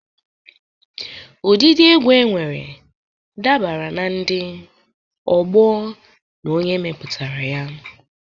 Ụdịdị egwu enwere dabere na ndị, ọgbọọ, na onye mepụtara ya.